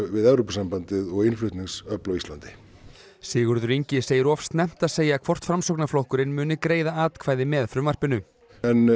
við Evrópusambandið og innflutningsöfl á Íslandi Sigurður Ingi segir of snemmt að segja hvort Framsóknarflokkurinn muni greiða atkvæði með frumvarpinu en